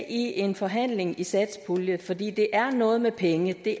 i en forhandling i satspuljen fordi det er noget med penge det